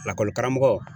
Lakɔlikaramɔgɔ